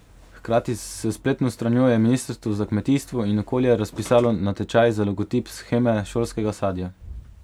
Hkrati s spletno stranjo je ministrstvo za kmetijstvo in okolje razpisalo natečaj za logotip sheme šolskega sadja.